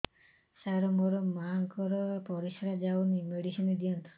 ସାର ମୋର ମାଆଙ୍କର ପରିସ୍ରା ଯାଉନି ମେଡିସିନ ଦିଅନ୍ତୁ